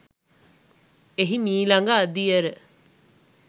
එහි මීළඟ අදියර